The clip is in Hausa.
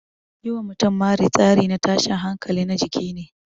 Yi wa mutum mari tsari na tashin hankali na jiki ne.